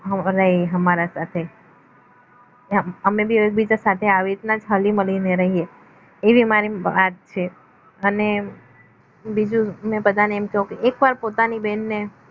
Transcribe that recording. અમારા સાથે અમે એકબીજા સાથે આવી રીતના જ હળી મળીને રહીએ એવી મારી વાત છે અને બીજું બધાને કેઓ કે એકવાર પોતાની બહેનને